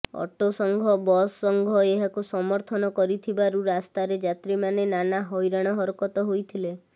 ଅଟୋସଂଘ bus ସଂଘ ଏହାକୁ ସମର୍ଥନ କରିଥିବାରୁ ରାସ୍ତାରେ ଯାତ୍ରୀମାନେ ନାନା ହଇରାଣ ହରକତ ହୋଇଥିଲେ